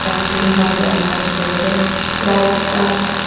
khan bi amikhan dikhi ase lights khan.